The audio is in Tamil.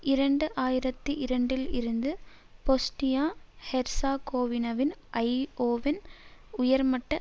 இரண்டு ஆயிரத்தி இரண்டில் இருந்து பொஸ்னியா ஹெர்சகோவினாவின் ஐஓவின் உயர்மட்ட